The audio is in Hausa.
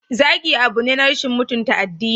Zagi abu ne na rashin mutunta addini.